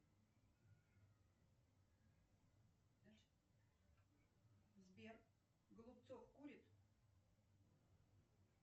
сбер голубцов курит